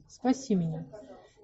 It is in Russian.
спаси меня